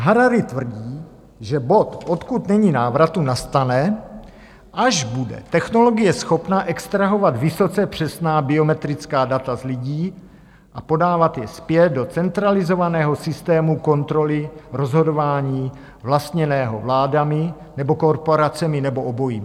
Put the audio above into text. Harari tvrdí, že bod, odkud není návratu, nastane, až bude technologie schopná extrahovat vysoce přesná biometrická data z lidí a podávat je zpět do centralizovaného systému kontroly rozhodování vlastněného vládami nebo korporacemi, nebo obojím.